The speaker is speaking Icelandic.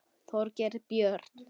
Þorgeir Björn.